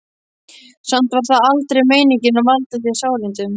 Samt var það aldrei meiningin að valda þér sárindum.